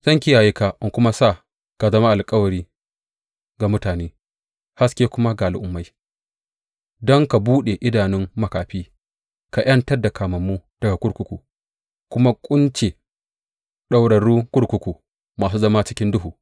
Zan kiyaye ka in kuma sa ka zama alkawari ga mutane haske kuma ga Al’ummai, don ka buɗe idanun makafi ka ’yantar da kamammu daga kurkuku kuma kunce ɗaurarrun kurkuku masu zama cikin duhu.